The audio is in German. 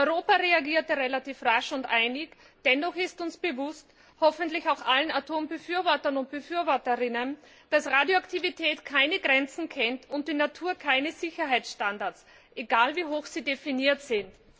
Europa reagierte relativ rasch und einig, dennoch ist uns bewusst hoffentlich auch allen Atombefürwortern und befürworterinnen dass Radioaktivität keine Grenzen und die Natur keine Sicherheitsstandards kennt, egal wie hoch sie definiert sind.